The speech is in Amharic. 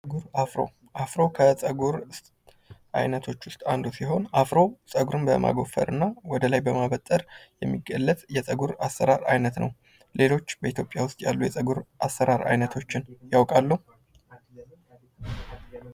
አፍሮ ከፀጉር አይነቶች ውስጥ አንዱ ሲሆን አፍሮ ፀጉርን በማጎፈር እና ወደ ላይ በማበጠር የሚገለጽ የፀጉር አሰራር አይነት ነው። ሌሎች በኢትዮጵያ ውስጥ ያሉ የፀጉር አሰራር አይነቶች ያውቃሉ?